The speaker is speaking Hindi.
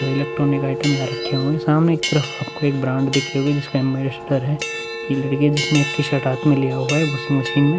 वे इलेक्ट्रॉनिक का आइटम यहाँ रखे हुए है। सामने के तरफ आपको एक ब्रांड दिख हुए। जिसका एम्बेसडर हैं। ये लड़की जिसने एक टी शर्ट हाथ में लिया है वाशिंग मशीन ।